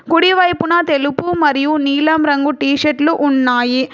కుడి వైపున తెలుపు మరియు నీలం రంగు టీ షర్ట్లు ఉన్నాయి.